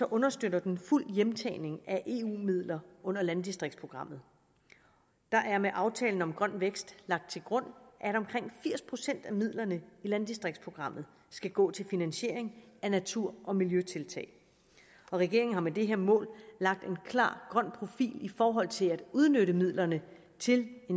understøtter den fuld hjemtagning af eu midler under landdistriktsprogrammet der er med aftalen om grøn vækst lagt til grund at omkring firs procent af midlerne i landdistriktsprogrammet skal gå til finansiering af natur og miljøtiltag regeringen har med det her mål lagt en klar grøn profil netop i forhold til at udnytte midlerne til